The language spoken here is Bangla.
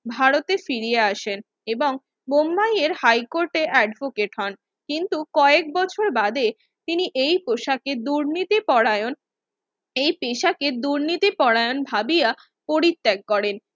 ভারতে ফিরিয়া আসেন এবং বোম্বায়ের হাইকোর্টে advocate হন কিন্তু কয়েকবছর বাদে তিনিএই পোশাকে দুর্নীতি পরায়ণ এ পেশাকে দুর্নীতি পরায়ণ ভাবিয়া পরিত্যাগ করেন